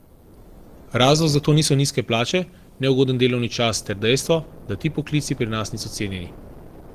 Razlog za to so nizke plače, neugoden delovni čas ter dejstvo, da ti poklici pri nas niso cenjeni.